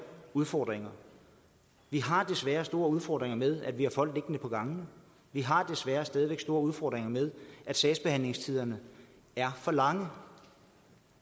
udfordringer vi har desværre store udfordringer med at vi har folk liggende på gangene vi har desværre stadig store udfordringer med at sagsbehandlingstiderne er for lange